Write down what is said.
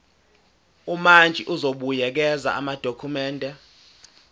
umantshi uzobuyekeza amadokhumende